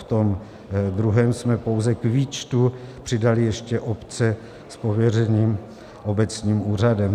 V tom druhém jsme pouze k výčtu přidali ještě obce s pověřením obecním úřadem.